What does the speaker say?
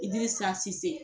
Idirisa Sise.